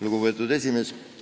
Lugupeetud juhataja!